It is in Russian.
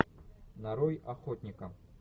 нарой охотника